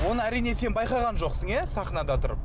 оны әрине сен байқаған жоқсың иә сахнада тұрып